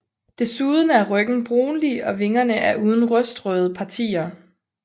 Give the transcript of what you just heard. Desuden er ryggen brunlig og vingerne er uden rustrøde partier